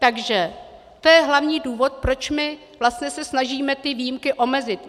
Takže to je hlavní důvod, proč my se snažíme ty výjimky omezit.